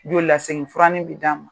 Jolilasegin furanin bi d'an ma.